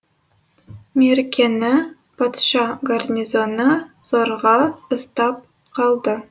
меркені патша гарнизоны зорға ұстап қалды